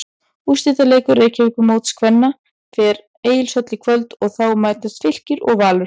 Úrslitaleikur Reykjavíkurmóts kvenna fer Egilshöll í kvöld en þá mætast Fylkir og Valur.